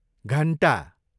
घन्टा